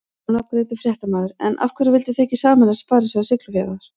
Ónafngreindur fréttamaður: En af hverju vildu þið ekki sameinast Sparisjóð Siglufjarðar?